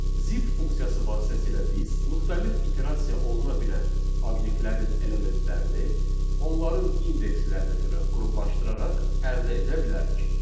Zip funksiyası vasitəsilə biz müxtəlif iterasiya oluna bilən obyektlərin elementlərini, onların indekslərinə görə qruplaşdıraraq əldə edə bilərik.